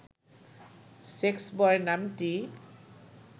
sexboy নামটি